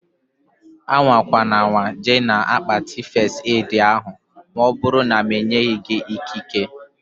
Amakwanama jee na-akpati fest edi ahụ maọbụru na m enyeghị gị ikike